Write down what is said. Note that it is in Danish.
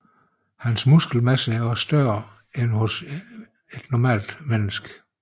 Hans muskelmasse er også større end hos et normalt menneske